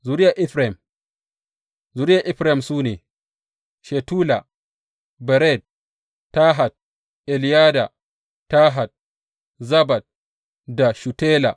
Zuriyar Efraim Zuriyar Efraim su ne, Shutela, Bered, Tahat, Eleyada, Tahat Zabad da Shutela.